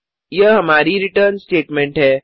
यह हमारी return statement है